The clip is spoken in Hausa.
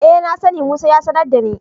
E, na sani, Musa ya sanar da ni.